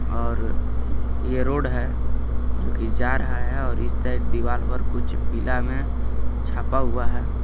और ये रोड हे जोकि जा रहा हे और इस साइड दिवाल पर कुछ पीला मे छापा हुआ हे.